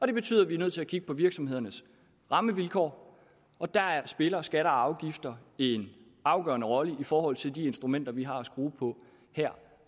det betyder at vi er nødt til at kigge på virksomhedernes rammevilkår og der spiller skatter og afgifter en afgørende rolle i forhold til de instrumenter vi har at skrue på her